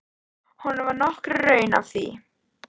Honum var nokkur raun að því.